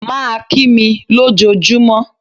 Má a kí mi ló jọ júmọ́.